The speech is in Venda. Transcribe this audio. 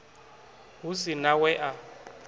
hu si na we a